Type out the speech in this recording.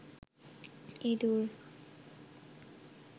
ইদুর